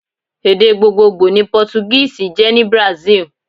Èdè gbogbogbò ni pótúgíìsì jé ní Brazil